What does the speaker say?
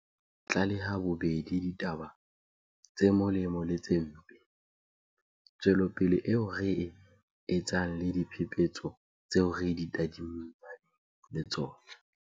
Ba tshwanela ho tlaleha bobedi ditaba tse molemo le tse mpe, tswelopele eo re e etsang le diphephetso tseo re tadimaneng le tsona.